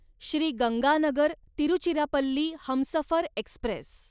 Shri Ganganagar Tiruchirappalli Humsafar Express